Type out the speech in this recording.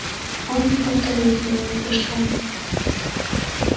он не повторил своего прыжка